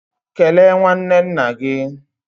Kelee nwanne nna gị!